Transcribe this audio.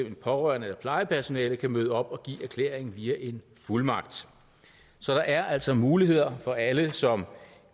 en pårørende eller plejepersonale kan møde op og give erklæringen via en fuldmagt så der er altså muligheder for alle som